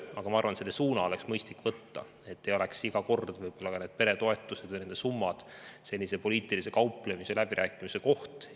Aga ma arvan, et see suund oleks mõistlik võtta, et peretoetuste summad ei oleks iga kord selline poliitilise kauplemise ja läbirääkimise koht.